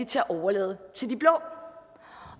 til at overlade til de blå